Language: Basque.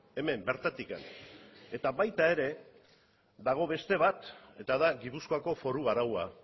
hemen bertatik eta baita ere dago beste bat eta da gipuzkoako foru araua